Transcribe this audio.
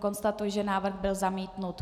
Konstatuji, že návrh byl zamítnut.